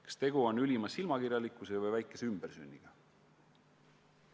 Kas tegu on ülima silmakirjalikkuse või väikese ümbersünniga?